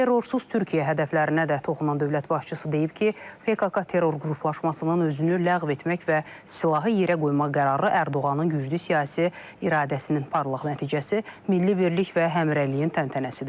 Terrorsuz Türkiyə hədəflərinə də toxunan dövlət başçısı deyib ki, PKK terror qruplaşmasının özünü ləğv etmək və silahı yerə qoymaq qərarı Ərdoğanın güclü siyasi iradəsinin parlaq nəticəsi, milli birlik və həmrəyliyin təntənəsidir.